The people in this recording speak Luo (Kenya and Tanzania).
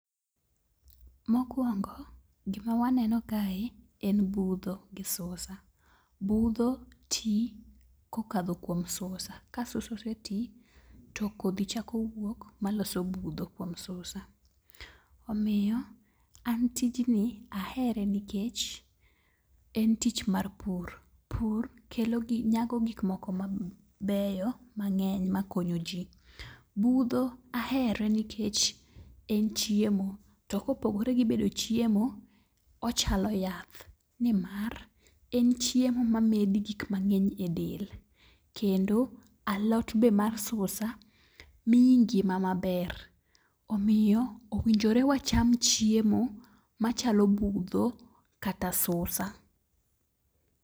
Mokwongo, gima waneno kae en budho gi susa. Budho ti kokadho kuom susa, ka susa ose ti to kodhi chako wuok ma loso budho kuom susa. Omiyo an tijni ahere nikech en tich mar pur. Pur kelo gi nyago gik moko ma beyo mang'eny ma konyo ji. Budho ahere nikech en chiemo. To kopogore gi bedo chiemo, ochalo yath. Nimar, en chiemo ma medi gik mang'eny e del. Kendo alot be mar susa miyi ngima maber, omiyo owinjore wacham chiemo machalo budho kata susa.